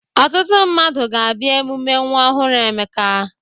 Ọtụtụ mmadụ ga-abịa emume nwa ọhụrụ Emeka.